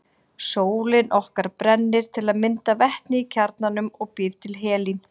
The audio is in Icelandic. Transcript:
Sólin okkar brennir til að mynda vetni í kjarnanum og býr til helín.